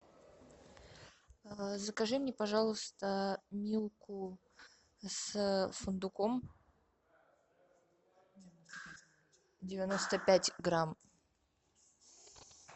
закажи мне пожалуйста милку с фундуком девяносто пять грамм